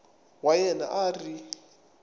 wa yena a a ri